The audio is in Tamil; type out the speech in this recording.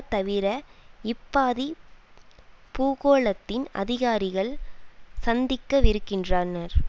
தவிர இப்பாதி பூகோளத்தின் அதிகாரிகள் சந்திக்கவிருக்கின்றானர்